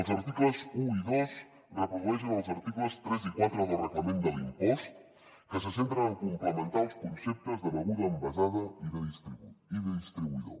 els articles un i dos reprodueixen els articles tres i quatre del reglament de l’impost que se centren en complementar els conceptes de beguda envasada i de distribuïdor